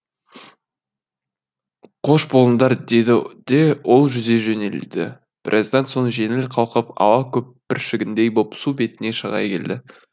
қош болыңдар деді де ол жүзе жөнелді біраздан соң жеңіл қалқып ауа көпіршігіндей боп су бетіне шыға келді